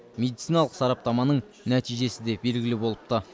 медициналық сараптаманың нәтижесі де белгілі болыпты